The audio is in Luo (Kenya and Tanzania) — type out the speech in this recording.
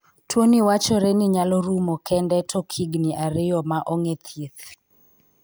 Tuoni wachore ni nyalo rumo kende tok higni ariyo ma ong'e thieth.